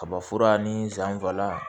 Kaba fura ni san fila